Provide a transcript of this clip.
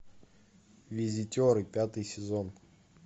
визитеры пятый сезон